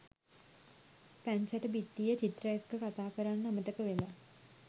පැංචට බිත්තියේ චිත්‍ර එක්ක කතා කරන්න අමතක වෙලා